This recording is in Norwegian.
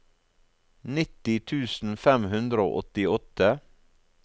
nitti tusen fem hundre og åttiåtte